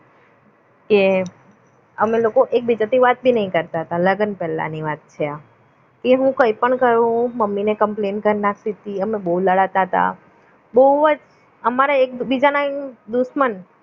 કે અમે લોકો એકબીજાથી વાત ભી નહીં કરતા લગ્ન પહેલાંની વાત છે આ એવું કંઈ પણ કરું હું મમ્મીને complain કર નાખતી હતી અમે બહુ લડતા તા બહુ જ બહુ જ અમારે એકબીજાના દુશ્મન